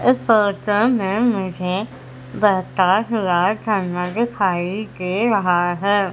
इस फोटो में मुझे बहता हुआ झरना दिखाई दे रहा है।